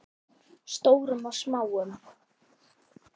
Stórum og smáum.